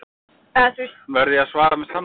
Verð ég að svara með sannleika?